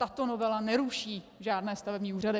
Tato novela neruší žádné stavební úřady.